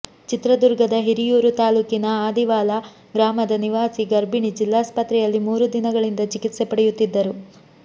ಚಿತ್ರದುರ್ಗದ ಹಿರಿಯೂರು ತಾಲೂಕಿನ ಅದಿವಾಲ ಗ್ರಾಮದ ನಿವಾಸಿ ಗರ್ಭಿಣಿ ಜಿಲ್ಲಾಸ್ಪತ್ರೆಯಲ್ಲಿ ಮೂರು ದಿನಗಳಿಂದ ಚಿಕಿತ್ಸೆ ಪಡೆಯುತ್ತಿದ್ದರು